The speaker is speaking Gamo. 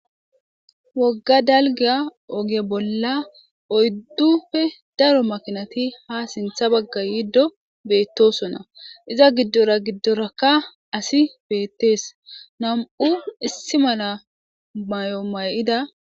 Wogga dalgga ooge bolla oyduppe darro makinati ha sinththan bagga yiddo betossona iza gidora gidoraka assi betees nam'u issi malla mayo mayida